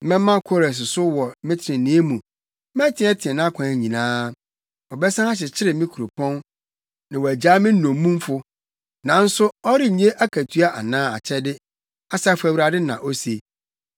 Mɛma Kores so wɔ me trenee mu; meteɛteɛ nʼakwan nyinaa. Ɔbɛsan akyekyere me kuropɔn na wagyaa me nnommumfo, nanso ɔrennye akatua anaa akyɛde, Asafo Awurade na ose.”